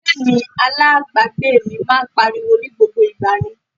Jẹ́ẹ̀nì alábàágbé mi máa ń pariwo ní gbogbo ìgbà ni